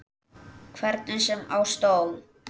Hvernig sem á stóð.